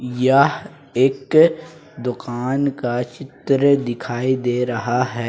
यह एक दुकान का चित्र दिखाई दे रहा है।